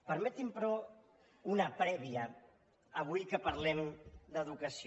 permetinme però una prèvia avui que parlem d’educació